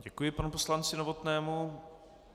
Děkuji panu poslanci Novotnému.